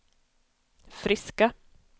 friska